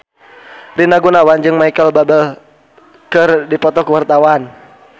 Rina Gunawan jeung Micheal Bubble keur dipoto ku wartawan